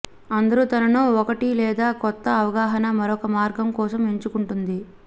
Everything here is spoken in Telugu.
అందరూ తనను ఒకటి లేదా కొత్త అవగాహన మరొక మార్గం కోసం ఎంచుకుంటుంది